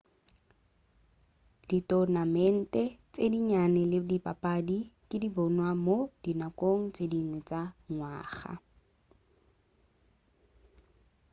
ditonamente tše dinnyane le dipapadi di ka bonwa mo dinakong tše dingwe tša ngwaga